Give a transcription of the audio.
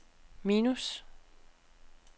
minus